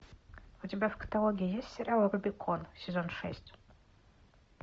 у тебя в каталоге есть сериал рубикон сезон шесть